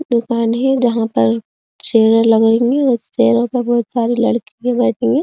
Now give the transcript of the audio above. दुकान है जहां पर चेयर लगेंगे उस चेयर पे बोहोत सारे लडकी --